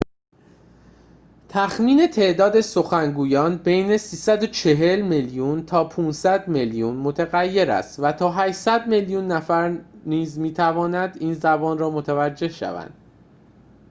تخمین تعداد سخنگویان بین ۳۴۰ میلیون تا ۵۰۰ میلیون متغیر است و تا ۸۰۰ میلیون نفر می‌توانند این زبان را متوجه شوند